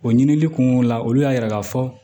O ɲinili kun la olu y'a yira k'a fɔ